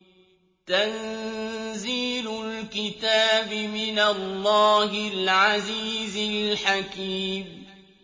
تَنزِيلُ الْكِتَابِ مِنَ اللَّهِ الْعَزِيزِ الْحَكِيمِ